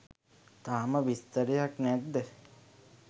තාම විස්තරයක් නැද්ද?